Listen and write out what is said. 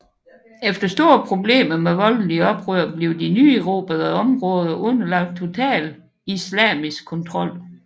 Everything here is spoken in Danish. Efter store problemer med voldelige oprør blev de nyerobrede områder underlagt total islamisk kontrol